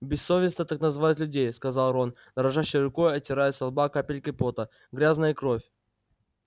бессовестно так называть людей сказал рон дрожащей рукой отирая со лба капельки пота грязная кровь